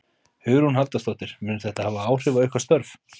Hugrún Halldórsdóttir: Mun þetta hafa áhrif á ykkar störf?